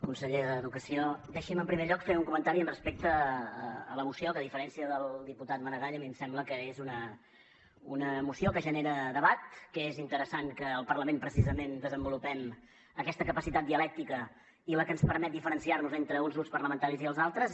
conseller d’educació deixi’m en primer lloc fer un comentari respecte a la moció que a diferència del diputat maragall a mi em sembla que és una moció que genera debat que és interessant que el parlament precisament desenvolupem aquesta capacitat dialèctica i la que ens permet diferenciar nos entre uns grups parlamentaris i els altres